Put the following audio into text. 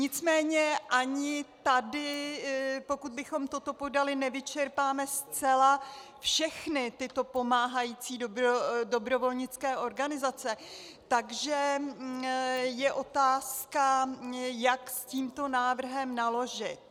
Nicméně ani tady, pokud bychom toto podali, nevyčerpáme zcela všechny tyto pomáhající dobrovolnické organizace, takže je otázka, jak s tímto návrhem naložit.